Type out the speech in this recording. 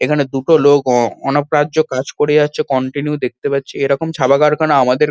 এখানে দুটো লোক অ অনপরাজ্য কাজ করে যাচ্ছে কন্টিনিউ দেখতে পাচ্ছি। এরকম ছাপা কারখানা আমাদের--